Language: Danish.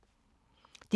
DR1